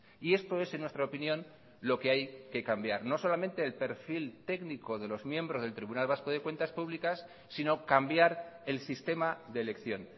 y esto es en nuestra opinión lo que hay que cambiar no solamente el perfil técnico de los miembros del tribunal vasco de cuentas públicas sino cambiar el sistema de elección